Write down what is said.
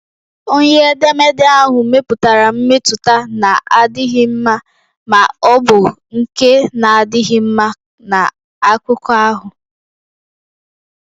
Onye edemede ahụ mepụtara mmetụta na-adịghị mma ma ọ bụ nke na-adịghị mma na akụkọ ahụ.